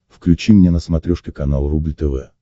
включи мне на смотрешке канал рубль тв